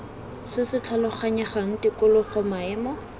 se se tlhaloganyegang tikologo maemo